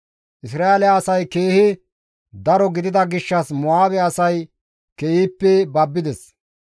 Isra7eele asay keehi daro gidida gishshas Mo7aabe asay keehippe babbides.